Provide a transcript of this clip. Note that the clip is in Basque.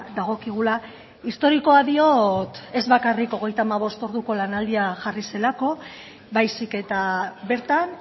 dagokigula historikoa diot ez bakarrik hogeita hamabost orduko lanaldia jarri zelako baizik eta bertan